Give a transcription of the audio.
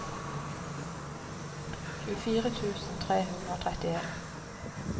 tjuefire tusen tre hundre og trettien